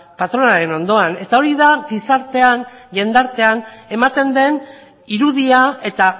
patronalaren ondoan eta hori da gizartean jendartean ematen den irudia eta